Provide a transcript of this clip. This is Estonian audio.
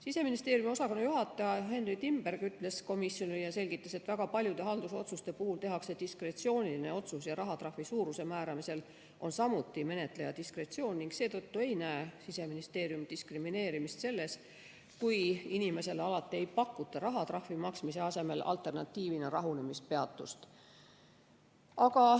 Siseministeeriumi osakonnajuhataja Henry Timberg selgitas komisjonile, et väga paljude haldusotsuste puhul tehakse diskretsiooniline otsus ja rahatrahvi suuruse määramisel on samuti menetleja diskretsioon ning seetõttu ei näe Siseministeerium diskrimineerimist selles, kui inimesele alati ei pakuta rahatrahvi maksmise asemel alternatiivina rahunemispeatust.